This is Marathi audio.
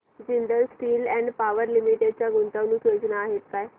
Jindal steel and power limited च्या गुंतवणूक योजना आहेत का